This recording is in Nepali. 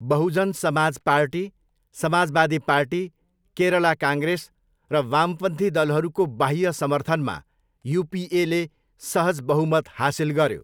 Bahujan Samaj party, Samajwadi party, Kerala Congress र वामपन्थी दलहरूको बाह्य समर्थनमा युपिएले सहज बहुमत हासिल गऱ्यो।